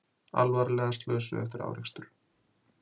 Alvarlega slösuð eftir árekstur